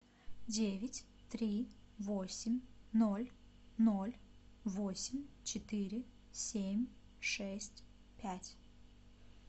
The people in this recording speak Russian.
девять три восемь ноль ноль восемь четыре семь шесть пять